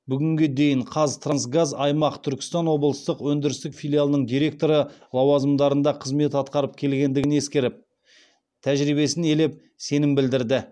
бүгінге дейін қазтрансгаз аймақ түркістан облыстық өндірістік филиалының директоры лауазымдарында қызмет атқарып келгендігін ескеріп тәжірибесін елеп сенім білдірді